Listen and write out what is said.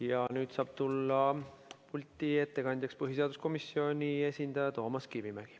Ja nüüd saab tulla pulti ettekandjaks põhiseaduskomisjoni esindaja Toomas Kivimägi.